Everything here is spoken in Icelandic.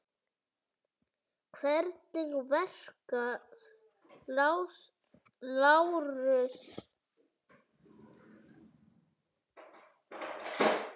Hvernig verka, Lárus?